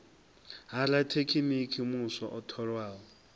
ha rathekiniki muswa o tholwaho